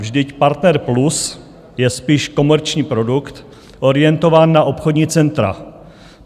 Vždyť Partner Plus je spíš komerční produkt orientovaný na obchodní centra.